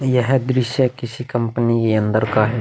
यह दृश्य किसी कंपनी के अंदर का है ।